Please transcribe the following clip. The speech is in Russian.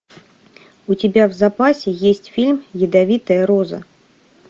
у тебя в запасе есть фильм ядовитая роза